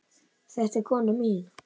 Þetta er konan mín!